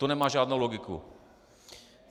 To nemá žádnou logiku.